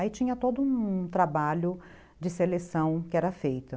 Aí tinha todo um um trabalho de seleção que era feito.